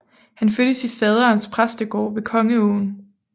Han fødtes i faderens præstegård ved Kongeåen